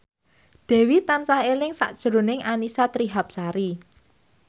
Dewi tansah eling sakjroning Annisa Trihapsari